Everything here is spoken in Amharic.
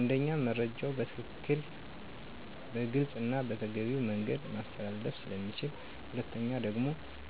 አንደኛ መረጃዉ በትክክል; በግልፅና በተገቢዉ መንገድ ማስተላለፍ ስለሚችሉ።. ሁለተኛ ደግሞ